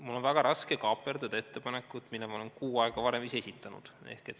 Mul on väga raske kaaperdada ettepanekut, mille ma olen kuu aega varem ise esitanud.